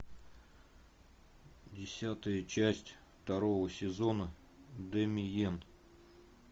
десятая часть второго сезона дэмиен